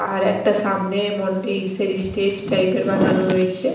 আর একটা সামনে মোন্টে ইস্সের ইস্টেজ টাইপের বানানো রয়েছে ।